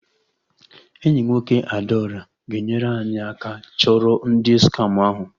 Enyi nwoke Adaora ga-enyere anyị aka chọrọ ndụ skama ahụ